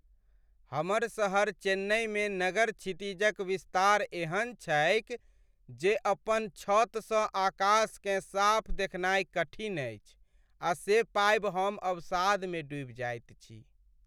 हमर शहर चेन्नइमे नगर क्षितिजक विस्तार एहन छैक जे अपन छतसँ आकाशकेँ साफ देखनाइ कठिन अछि आ से पाबि हम अवसादमे डूबि जाइत छी।